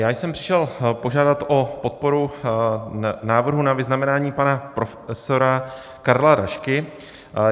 Já jsem přišel požádat o podporu návrhu na vyznamenání pana profesora Karla Rašky.